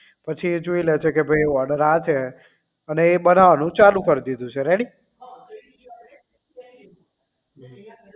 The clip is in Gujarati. પછી એ જોઈ લે છે કે ભાઈ order આ છે અને એ બનાવવા નું ચાલુ કરી દીધું છે ready